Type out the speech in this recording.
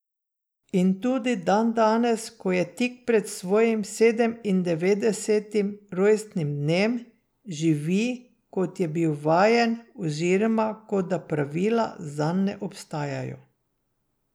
In tudi dandanes, ko je tik pred svojim sedemindevetdesetim rojstnim dnem, živi, kot je bil vajen oziroma kot da pravila zanj ne obstajajo.